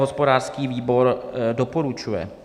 Hospodářský výbor doporučuje.